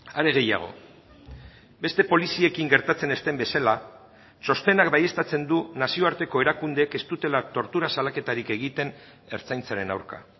are gehiago beste poliziekin gertatzen ez den bezala txostenak baieztatzen du nazioarteko erakundeek ez dutela tortura salaketarik egiten ertzaintzaren aurka